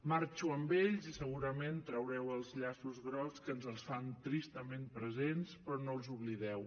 marxo amb ells i segurament traureu els llaços grocs que ens els fan tristament presents però no els oblideu